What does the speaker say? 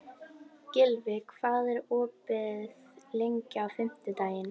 Gylfi, hvað er opið lengi á fimmtudaginn?